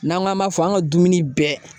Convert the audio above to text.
N'an k'an b'a fɔ an ka dumuni bɛɛ